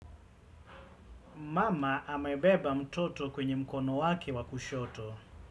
Mama, hamebeba mtoto kwenye mkono wake wakushoto.